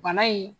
Bana in